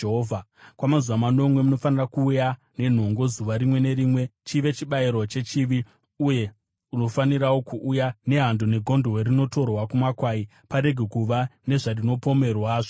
“Kwamazuva manomwe munofanira kuuya nenhongo zuva rimwe nerimwe chive chibayiro chechivi; uye unofanirawo kuuya nehando negondobwe rinotorwa kumakwai, parege kuva nezvazvinopomerwa zvose.